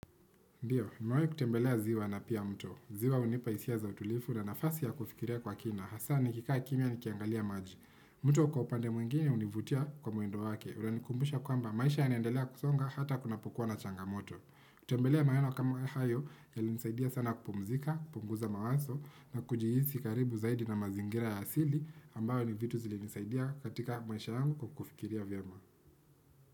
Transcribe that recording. Ndiyo, nimewai kutembelea ziwa na pia mto. Ziwa unipa hisia za utulifu na nafasi ya kufikiria kwa kina. Hasaa ni kikaa kimia ni kiangalia maji. Mto kwa upande mwingine univutia kwa mwendo wake. Unanikumbusha kwamba maisha yanaendelea kusonga hata kunapokuwa na changamoto. Kutembelea maeneo kama hayo ya linisaidia sana kupumzika, kupunguza mawazo na kujihiii karibu zaidi na mazingira ya asili ambayo ni vitu zilinisaidia katika maisha yangu kufikiria vyama.